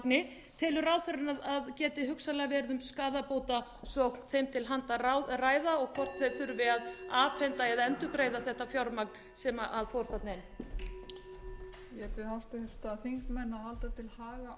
í þá telur ráðherrann að það geti hugsanlega verið um skaðabótasókn þeim til handa að ræða og hvort þeir þurfi að afhenda eða endurgreiða þetta fjármagn sem fór þarna inn